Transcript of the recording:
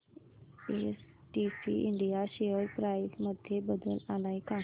STC India share price मध्ये बदल आलाय का